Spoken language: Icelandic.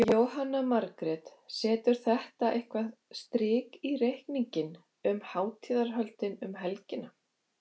Jóhanna Margrét: Setur þetta eitthvað strik í reikninginn um hátíðarhöldin um helgina?